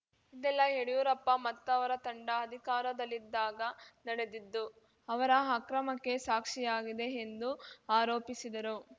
ಇದೆಲ್ಲಾ ಯಡಿಯೂರಪ್ಪ ಮತ್ತವರ ತಂಡ ಅಧಿಕಾರದಲ್ಲಿದ್ದಾಗ ನಡೆದಿದ್ದು ಅವರ ಅಕ್ರಮಕ್ಕೆ ಸಾಕ್ಷಿಯಾಗಿದೆ ಎಂದು ಆರೋಪಿಸಿದರು